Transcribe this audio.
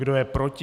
Kdo je proti?